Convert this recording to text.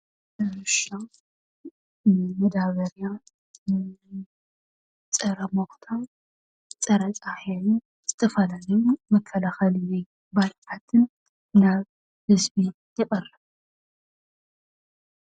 መዳበርያ፣ ፀረ ሞኽታ፣ ፀረ ፃህያይን ዝተፈላለዩ መከላኸሊ ባልዓትን ናብ ህዝቢ የቕርብ፡፡